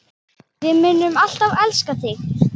Við munum alltaf elska þig.